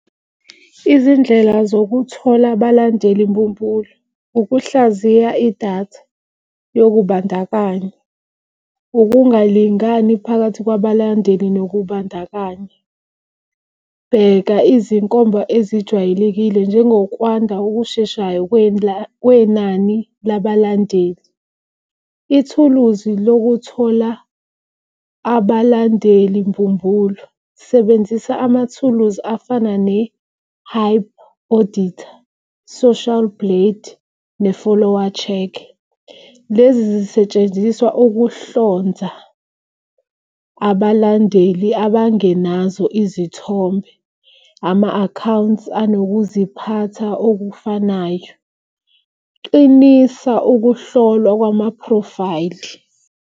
Izindlela zokuthola abalandeli mbumbulu ukuhlaziya idatha yokumbandakanya, ukungalingani phakathi lwabalandeli nokubandakanya. Bheka izinkomba ezijwayelekile njengokwanda okusheshayo kwenani labalandeli. Ithuluzi lokuthola abalandeli mbumbulu sebenzisa amathuluzi afana ne-HypeAuditor, Social Blade, ne-follower check. Lezi zisetshenziswa ukuhlonza abalandeli abangenazo izithombe, ama-accounts anokuziphatha okufanayo. Qinisa ukuhlolwa kwamaphrofayili.